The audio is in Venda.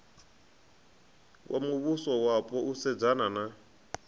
wa muvhusowapo u sedzana na